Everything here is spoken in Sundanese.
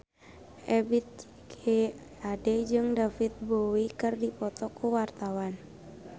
Ebith G. Ade jeung David Bowie keur dipoto ku wartawan